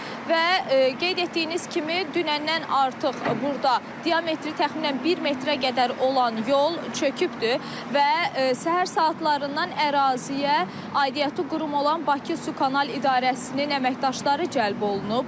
Və qeyd etdiyiniz kimi, dünəndən artıq burda diametri təxminən bir metrə qədər olan yol çökübdür və səhər saatlarından əraziyə aidiyyatı qurum olan Bakı Su Kanal İdarəsinin əməkdaşları cəlb olunub.